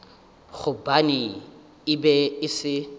gobane e be e se